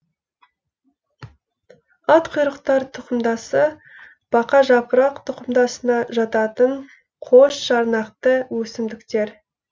атқұйрықтар тұқымдасы бақажапырақ тұқымдасына жататын қосжарнақты өсімдіктер